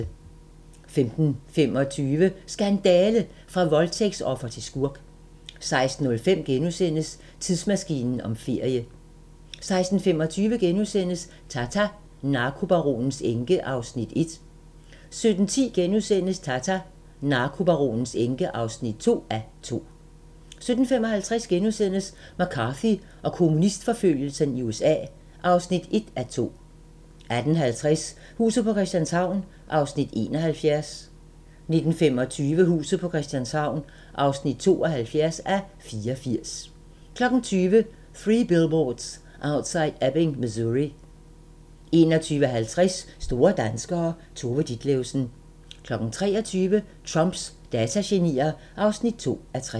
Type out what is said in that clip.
15:25: Skandale! – fra voldtægtsoffer til skurk 16:05: Tidsmaskinen om ferie * 16:25: Tata: Narkobaronens enke (1:2)* 17:10: Tata: Narkobaronens enke (2:2)* 17:55: McCarthy og kommunistforfølgelsen i USA (1:2)* 18:50: Huset på Christianshavn (71:84) 19:25: Huset på Christianshavn (72:84) 20:00: Three Billboards Outside Ebbing, Missouri 21:50: Store danskere - Tove Ditlevsen 23:00: Trumps datagenier (2:3)